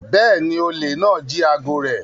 Bẹ́ẹ̀ni, olè náà jí aago rẹ̀